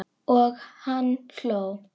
Og hann hló.